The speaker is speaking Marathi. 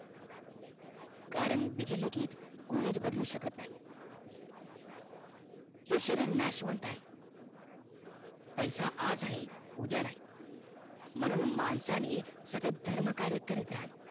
कारण विधी लिखित कोणीच बदलू शकत नाही हे शरीर नाशवंत आहे पैसा आज आहे उद्या नाही म्हणून माणसाने सतत धर्मकार्य करीत राहावं